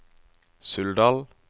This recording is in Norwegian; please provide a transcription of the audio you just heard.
Suldal